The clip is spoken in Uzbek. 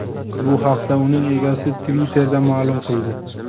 Bu haqda uning egasi Twitter’da ma’lum qildi .